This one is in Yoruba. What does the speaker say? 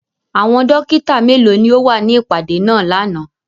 Àwọn dokita melo ni o wa ni ipade naa làná?